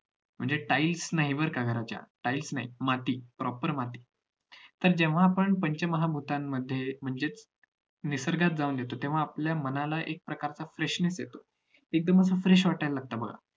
म्हणजे tiles नाही बर का घराच्या tiles नाही proper माती तर जेव्हा आपण पंचमहाभूतांमध्ये म्हणजेच निसर्गात जाऊन येतो तेव्हा आपल्या मनाला एक प्रकारचा freshness येतो एकदम fresh वाटायला लागतं